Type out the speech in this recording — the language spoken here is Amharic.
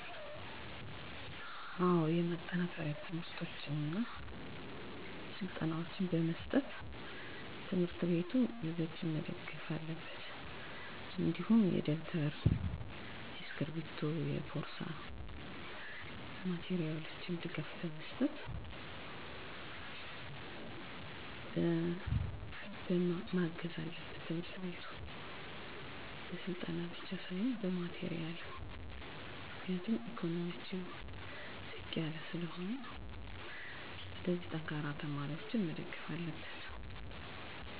ከትምህርት ጎን ለጎን ተጨማሪ ሀላፊነት ያለባቸው ልጆች ስኬታማ እንዲሆኑ የሚከተሉትን ስልቶች ማከናወን ይቻላል። አንደኛ እነዚህ ልጆች በህይወታቸው ብዙ ችግሮችን እንደሚያሳልፍ በመረዳት ትምሕርት ቤታቸው የተለያዩ የማጠናከሪያ ትምህርቶችን እና ስልጠናዎችን በማዘጋጀት ለእነሱ የተለየ ድጋፍ ማድረግ ይችላል። ሁለተኛ ማህበረሰቡ ችግራቸውን በጥልቀት ተገንዝቦ በገንዘብ እና በሚችለው ሁሉ መደገፍ በተጨማሪም ከሀላፊነታቸው የተነሳ ለአላስፈላጊ ጭንቀት እንዳይዳረጉ የተለያዩ የምክክር እና የልምድ ልውውጥ ፕሮግራሞችን በማዘጋጀት ተሳታፊ እንዲሆኑ በማድረግ ድጋፍ ማድረግ ይቻላል።